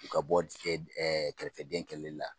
U ka bɔ kɛrɛfɛdɛn kɛlɛli la